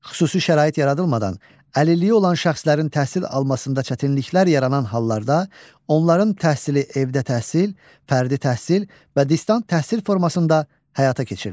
Xüsusi şərait yaradılmadan əlilliyi olan şəxslərin təhsil almasında çətinliklər yaranan hallarda onların təhsili evdə təhsil, fərdi təhsil və distant təhsil formasında həyata keçirilir.